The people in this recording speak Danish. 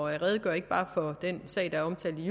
at redegøre ikke bare for den sag der er omtalt i